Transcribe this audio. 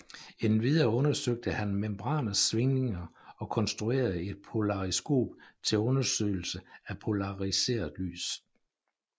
Endvidere undersøgte han membraners svingninger og konstruerede et polariskop til undersøgelse af polariseret lys